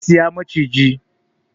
Zai saya maciji